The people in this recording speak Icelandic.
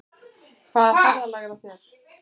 Hvaða ferðalag er á þér?